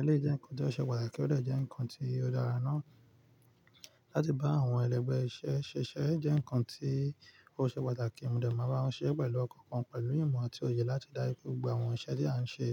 Eleyii jẹ́ nǹkan tó ṣe pàtàkì ó dẹ̀ jẹ́ nǹkan tí ó dára náà. Láti bá àwọn ẹlẹgbẹ́ iṣẹ́ ṣiṣẹ́ jẹ́ nǹkan tí ó ṣe pàtàkì. Mò de máa n bá wọn ṣerẹ́ pẹ̀lú ọkàn kan pẹ̀lú ìmọ̀ àti òye láti ri dáju pe gbogbo àwọn iṣẹ́ tí eeyań n se.